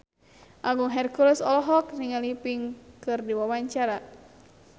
Agung Hercules olohok ningali Pink keur diwawancara